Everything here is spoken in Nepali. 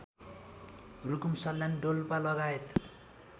रुकुम सल्यान डोल्पालगायत